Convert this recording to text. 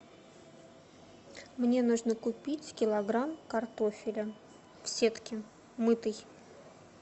мне нужно купить килограмм картофеля в сетке мытый